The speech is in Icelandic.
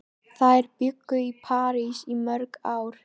Þær bjuggu í París í mörg ár.